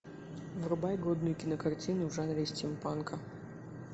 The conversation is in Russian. врубай годную кинокартину в жанре стимпанка